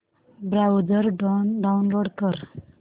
browser download कर